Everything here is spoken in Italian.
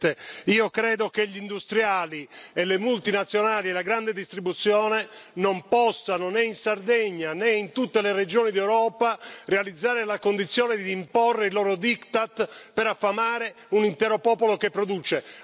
Presidente, io credo che gli industriali e le multinazionali della grande distribuzione non possano, né in Sardegna né in tutte le regioni d'Europa, realizzare la condizione di imporre i loro diktat per affamare un intero popolo che produce.